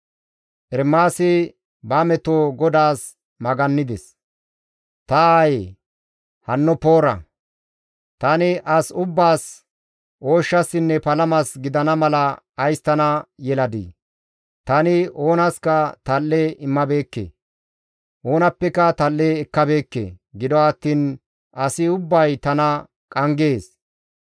Ta aayee! Hanno poora! Tani as ubbaas ooshshasinne palamas gidana mala ays tana yeladii? Tani oonaska tal7e immabeekke; oonappeka tal7e ekkabeekke; gido attiin asi ubbay tana qanggees.